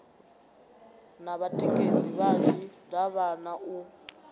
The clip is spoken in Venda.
na vhatikedzi vhanzhi davhana u